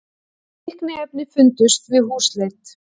Fíkniefni fundust við húsleit